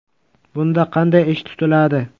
Bunda qanday ish tutiladi?